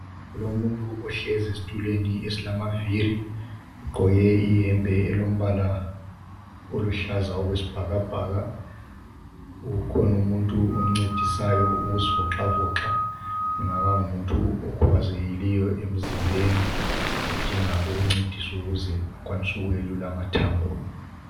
Kulomunyu ohlezi esitulweni esilamavili, ugqoke iyembe elombala oluhlaza okwesibhakabhaka. Ukhona umuntu omncedisayo ukuzivoxavoxa. Engaba ngumuntu okhubazekileyo emzimbeni odinga ukuncediswa ukuze akwanise ukwelula amathambo.